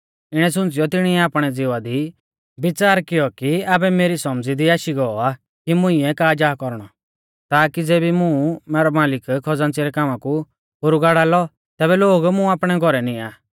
इणै सुंच़ीयौ तिणी आपणै ज़िवा दी बिच़ार कियौ कि आबै मेरी सौमझ़ी दी आशी गौ आ कि मुंइऐ का जा कौरणौ ताकी ज़ेबी मुं मैरौ मालिक खज़ान्च़ी रै कामा कु पोरु गाड़ा लौ तेबी लोग मुं आपणै घौरै निआं